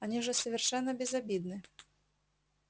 они же совершенно безобидны